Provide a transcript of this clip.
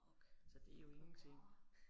Så det er jo ingenting